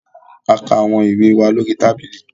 A kà awọn ìwé wà lórí tábìlì